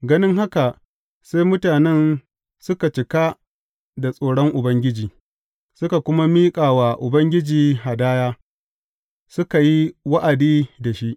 Ganin haka sai mutanen suka cika da tsoron Ubangiji, suka kuma miƙa wa Ubangiji hadaya, suka yi wa’adi da shi.